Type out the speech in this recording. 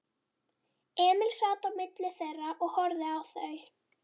Emil sat á milli þeirra og horfði á þau.